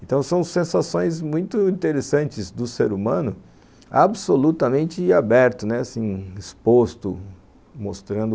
Então são sensações muito interessantes do ser humano absolutamente aberto, né, exposto, mostrando